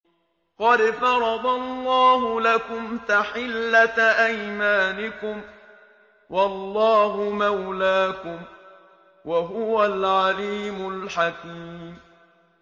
قَدْ فَرَضَ اللَّهُ لَكُمْ تَحِلَّةَ أَيْمَانِكُمْ ۚ وَاللَّهُ مَوْلَاكُمْ ۖ وَهُوَ الْعَلِيمُ الْحَكِيمُ